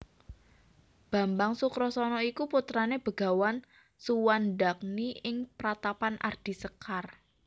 Bambang Sukrasana iku putrane Begawan Suwandagni ing Pratapan Ardi Sekar